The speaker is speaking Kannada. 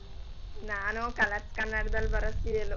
ನಾನು colors ಕನ್ನಡದಲ್ಲ್ ಬರೋ serial.